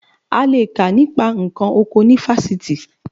A le è kà nípa nǹkan oko ní fásitì